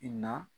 I na